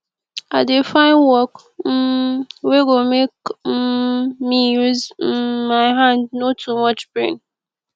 i dey find work um wey go make um me use um my hand no too much brain